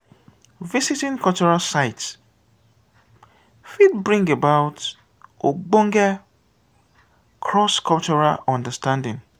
visiting cultural sites fit bring about ogbonge cross cultural understanding